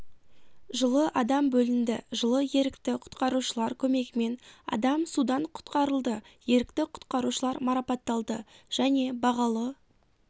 жылы адам бөлінді жылы ерікті құтқарушылар көмегімен адам судан құтқарылды ерікті құтқарушылар марапатталды және бағалы